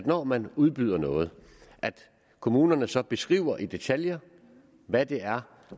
når man udbyder noget at kommunerne så beskriver i detaljer hvad det er